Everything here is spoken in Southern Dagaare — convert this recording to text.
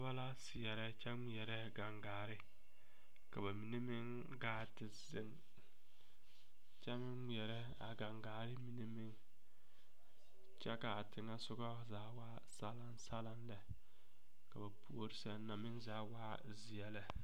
Noba la seɛrɛ kyɛ ŋmeɛrɛ gaŋgaare ka ba mine meŋ gaa te zeŋ kyɛ ŋmeɛrɛ a gaŋgaare mine meŋ kyɛ ka a teŋesɔga zaa waa salaŋsalaŋ lɛ ka ba puori sɛŋ na waa zeɛ lɛ.